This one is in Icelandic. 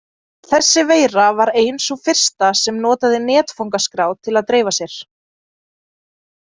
Þessi veira var ein sú fyrsta sem notaði netfangaskrá til að dreifa sér.